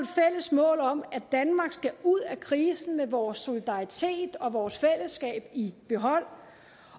mål om at danmark skal ud af krisen med vores solidaritet og vores fællesskab i behold